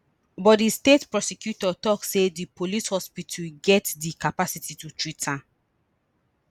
but di state prosecutor tok say di police hospital get di capacity to treat am